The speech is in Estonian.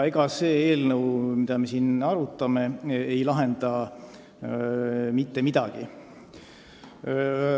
Ning eelnõu, mida me siin arutame, ei lahenda mitte midagi.